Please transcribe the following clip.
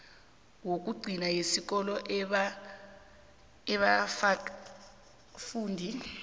yokugcina yesikolo abekafunda